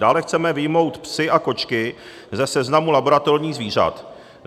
Dále chceme vyjmout psy a kočky ze seznamu laboratorních zvířat.